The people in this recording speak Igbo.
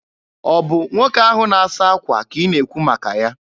Ọ bụ nwoke ahụ na-asa akwa ka ị na-ekwu maka ya?